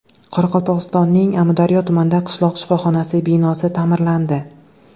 Qoraqalpog‘istonning Amudaryo tumanida qishloq shifoxonasi binosi ta’mirlandi.